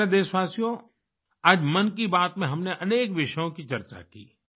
मेरे प्यारे देशवासियो आज मन की बात में हमने अनेक विषयों की चर्चा की